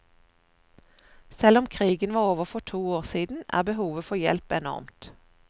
Selv om krigen var over for to år siden, er behovet for hjelp enormt.